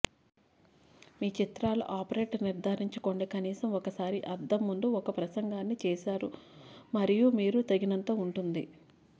మీ చిత్రాలను ఆపరేట్ నిర్ధారించుకోండి కనీసం ఒకసారి అద్దం ముందు ఒక ప్రసంగాన్ని చేశారు మరియు మీరు తగినంత ఉంటుంది